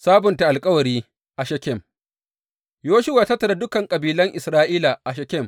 Sabunta alkawari a Shekem Yoshuwa ya tattara dukan kabilan Isra’ila a Shekem.